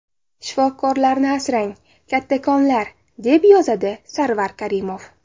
Shifokorlarni asrang, kattakonlar”, deb yozadi Sarvar Karimov.